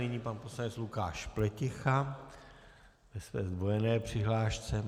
Nyní pan poslanec Lukáš Pleticha ve své zdvojené přihlášce.